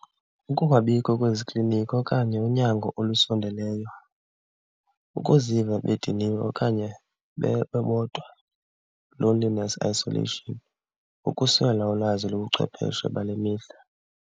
Ukungabikho kwezi kliniki okanye unyango olusondeleyo, ukuziva bediniwe okanye bebodwa, loneliness, isolation, ukuswela ulwazi lobuchwepeshe bale mihla.